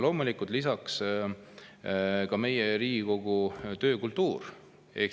Loomulikult ka Riigikogu töökultuur.